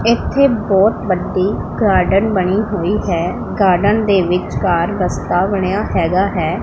ਇਥੇ ਬਹੁਤ ਵੱਡੀ ਗਾਰਡਨ ਬਣੀ ਹੋਈ ਹੈ ਗਾਰਡਨ ਦੇ ਵਿੱਚਕਾਰ ਰਸਤਾ ਬਣਿਆ ਹੈਗਾ ਹੈ।